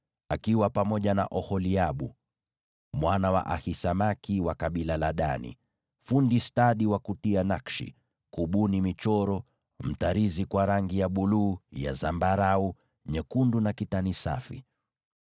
akiwa pamoja na Oholiabu mwana wa Ahisamaki, wa kabila la Dani, fundi stadi wa kutia nakshi, kubuni michoro, mtarizi kwa rangi ya buluu, ya zambarau, nyekundu na kitani safi.)